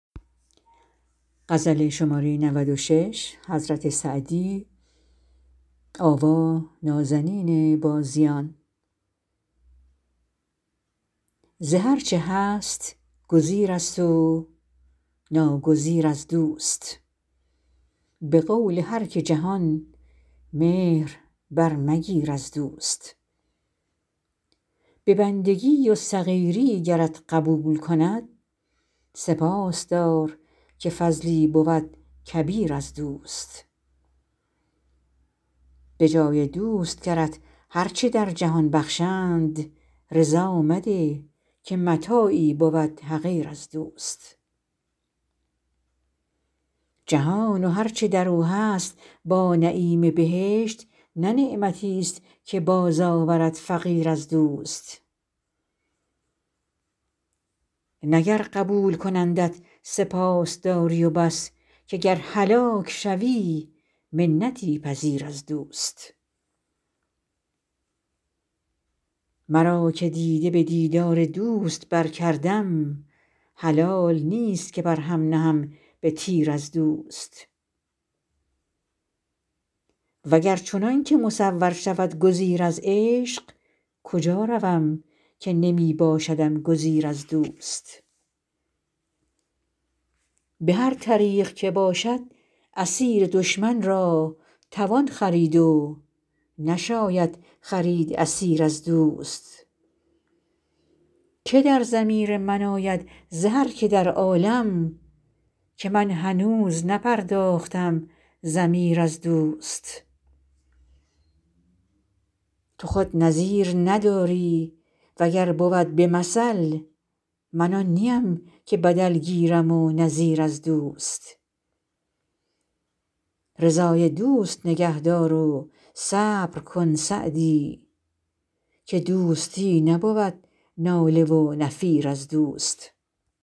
ز هر چه هست گزیرست و ناگزیر از دوست به قول هر که جهان مهر برمگیر از دوست به بندگی و صغیری گرت قبول کند سپاس دار که فضلی بود کبیر از دوست به جای دوست گرت هر چه در جهان بخشند رضا مده که متاعی بود حقیر از دوست جهان و هر چه در او هست با نعیم بهشت نه نعمتیست که بازآورد فقیر از دوست نه گر قبول کنندت سپاس داری و بس که گر هلاک شوی منتی پذیر از دوست مرا که دیده به دیدار دوست برکردم حلال نیست که بر هم نهم به تیر از دوست و گر چنان که مصور شود گزیر از عشق کجا روم که نمی باشدم گزیر از دوست به هر طریق که باشد اسیر دشمن را توان خرید و نشاید خرید اسیر از دوست که در ضمیر من آید ز هر که در عالم که من هنوز نپرداختم ضمیر از دوست تو خود نظیر نداری و گر بود به مثل من آن نیم که بدل گیرم و نظیر از دوست رضای دوست نگه دار و صبر کن سعدی که دوستی نبود ناله و نفیر از دوست